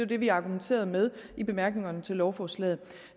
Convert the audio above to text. det vi argumenterede med i bemærkningerne til lovforslaget